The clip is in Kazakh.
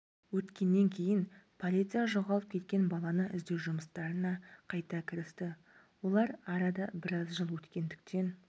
өткеннен кейін полиция жоғалып кеткен баланы іздеу жұмыстарына қайта кірісті олар арада біраз жыл өткендіктен